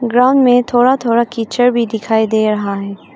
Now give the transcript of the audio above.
Ground में थोड़ा थोड़ा किचड़ भी दिखाई दे रहा हैं।